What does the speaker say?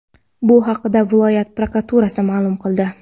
Bu haqda viloyat prokuraturasi ma’lum qildi .